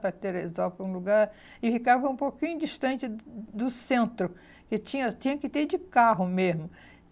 Para Teresópolis, para um lugar... E ficava um pouquinho distante do do centro, que tinha tinha que ter de carro mesmo.